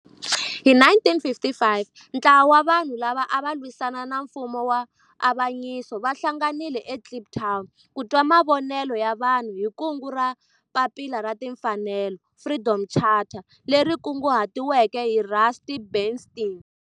Hi 1955 ntlawa wa vanhu lava ava lwisana na nfumo wa avanyiso va hlanganile eKliptown ku twa mavonelo ya vanhu hi kungu ra Papila ra Tinfanelo, Freedom Charter leri kunguhatiweke hi Rusty Bernstein.